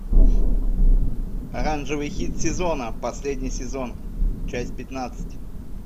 оранжевый хит сезона последний сезон часть пятнадцать